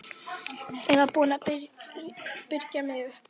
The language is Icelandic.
Ég var búin að byrgja mig upp.